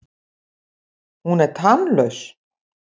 Hún er tannlaus.